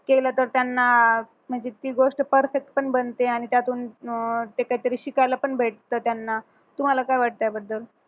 केलं तर त्यांना म्हणजे ती गोष्ट perfect पण बनते आणि त्यातून अं त्याच्यात तरी शिकायला पण भेटत त्यांना तुम्हाला काय वाटतं याबद्दल